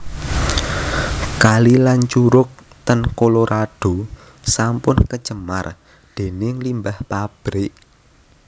Kali lan curug ten Colorado sampun kecemar dening limbah pabrik